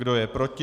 Kdo je proti?